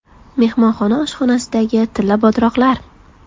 Mehmonxona oshxonasidagi tilla bodroqlar.